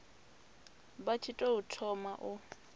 vha tshi tou thoma u